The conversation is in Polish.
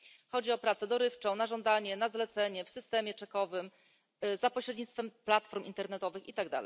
Chodzi o pracę dorywczą, na żądanie, na zlecenie, w systemie czekowym, za pośrednictwem platform internetowych itd.